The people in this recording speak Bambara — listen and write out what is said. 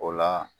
O la